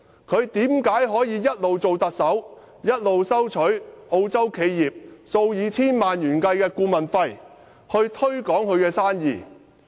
為何他可以在擔任特首期間，收取澳洲企業數以千萬元計的顧問費，推廣他們的生意？